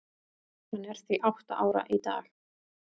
Hann er því átta ára í dag.